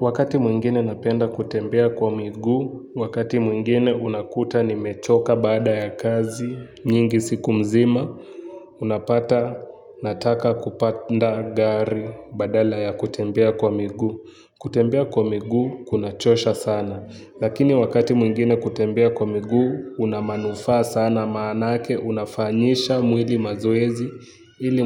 Wakati mwingine napenda kutembea kwa miguu, wakati mwingine unakuta nimechoka baada ya kazi, nyingi siku mzima, unapata nataka kupanda gari badala ya kutembea kwa miguu. Kutembea kwa miguu, kunachosha sana. Lakini wakati mwingine kutembea kwa miguu, una manufaa sana maanake, unafanyisha mwili mazoezi, ili